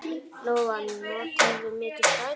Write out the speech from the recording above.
Lóa: Notarðu mikið strætó?